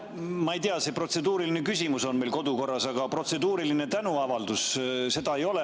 Ma ei tea, protseduuriline küsimus on meil kodukorras, kuid protseduuriline tänuavaldus ei ole.